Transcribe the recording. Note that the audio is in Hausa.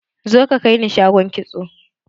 Zo ka kaini shagon kitso!